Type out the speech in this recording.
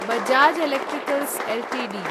Bajaj electricals Ltd